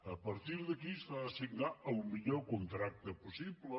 a partir d’aquí s’ha de signar el millor contracte possible